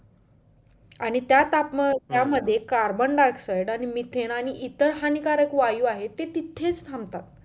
आणि त्या तापमानामध्ये carbon dioxide आणि mithen आणि इतर हानिकारक वायू आहेत ते तिथेच थांबतात